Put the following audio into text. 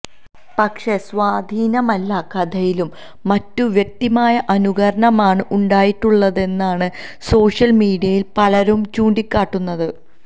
പക്ഷേ സ്വാധീനമല്ല കഥയിലും മറ്റും വ്യക്തമായ അനുകരണമാണ് ഉണ്ടായിട്ടുള്ളതെന്നാണ് സോഷ്യൽ മീഡിയയിൽ പലരും ചൂണ്ടിക്കാട്ടുന്നത്